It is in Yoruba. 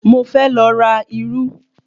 Mo fẹ́ lọ ra irú